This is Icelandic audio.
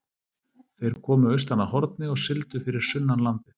Þeir komu austan að Horni og sigldu fyrir sunnan landið.